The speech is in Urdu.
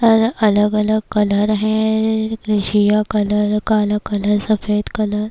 اور الگ الگ کلر ہیں سیاہ کلر کالا کلر سفید کلر --